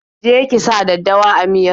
Je ki sa daddawa a miyar!